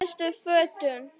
Síðustu fötin.